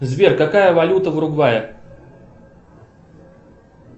сбер какая валюта в уругвае